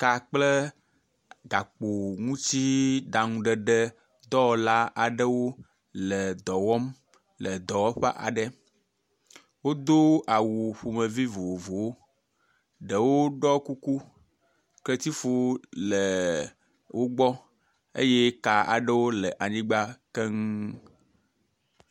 ka kple gakpo ŋutsi ɖaŋuɖeɖe dɔwɔla aɖewo le dɔwɔm le dɔwɔƒe aɖe wodó awu ƒomevi vovovowo ɖewo ɖɔ kuku ketsifɔ ɖewo le wógbɔ eye ka aɖewo le anyigbã keŋu